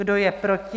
Kdo je proti?